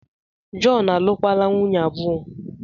Jọn, alụkwala nwunye abụọ!